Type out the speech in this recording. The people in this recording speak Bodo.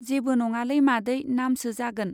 जेबो नङालै मादै, नामसो जागोन।